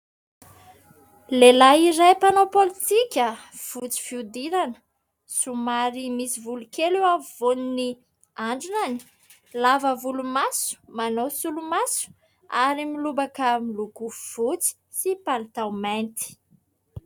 Lehilay iray mpanao pôlitika fotsy fihodirana, somary misy volo kely eo afovoan'ny andrinany, lava volomaso, manao solomaso ary milobaka miloko fotsy sy palitao mainty.